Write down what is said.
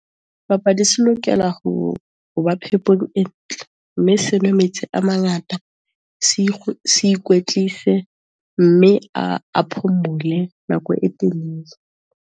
Sebapadi se lokela ho ba phepong e ntle, mme se nwe metsi a mangata, se ikwetlise, mme a, a phomole nako e telele.